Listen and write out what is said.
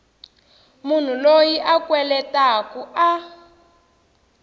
munhu loyi a kweletaku a